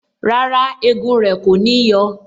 Rárá, egun rẹ kò ní yọ